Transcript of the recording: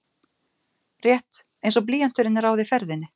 Rétt einsog blýanturinn ráði ferðinni.